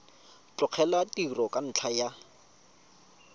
tlogela tiro ka ntlha ya